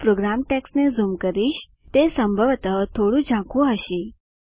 હું પ્રોગ્રામ ટેક્સ્ટને ઝૂમ કરીશ તે સંભવતઃ થોડું ઝાંખુ હશે